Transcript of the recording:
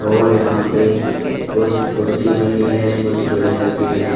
और यहां पे कुछ छोटी मशीनें कुछ बड़ी मशीनें --